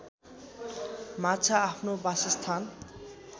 माछा आफ्नो वासस्थान